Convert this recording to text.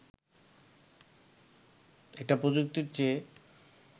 এটা প্রযুক্তির চেয়ে